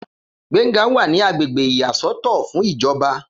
Gbénga wà ní agbègbè ìyá sọ́tọ̀ fún ìjọba